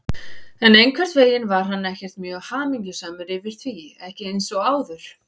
En einhvern veginn var hann ekkert mjög hamingjusamur yfir því, ekki eins og áður.